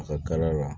A kar'a la